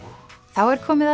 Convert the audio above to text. þá er komið